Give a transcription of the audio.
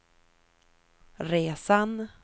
resan